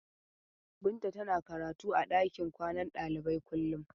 Binta tana karatu a ɗakin kwanan ɗalibai kullum.